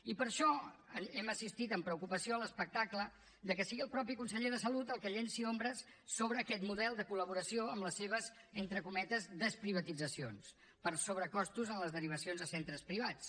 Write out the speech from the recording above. i per això hem assistit amb preocupació a l’espectacle que sigui el mateix conseller de salut el que llenci ombres sobre aquest model de col·laboració amb les seves entre cometes desprivatitzacions per sobrecostos en les derivacions a centres privats